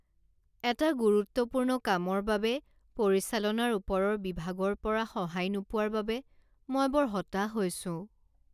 এটা গুৰুত্বপূৰ্ণ কামৰ বাবে পৰিচালনাৰ ওপৰৰ বিভাগৰ পৰা সহায় নোপোৱাৰ বাবে মই বৰ হতাশ হৈছোঁ।